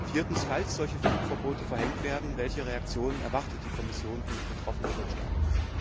Viertens Falls solche Flugverbote verhängt werden, welche Reaktionen erwartet die Kommission von den betroffenen Drittstaaten?